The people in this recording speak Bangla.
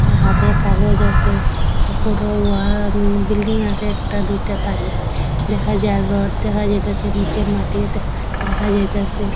হাতে কাগজ আসে উপরেও ওয়া বিল্ডিং আসে একটা দুইটা তারিয়াত দেখা যার রড দেখা যাইতাসে নিচে মাটি দে দেখা যাইতাসে।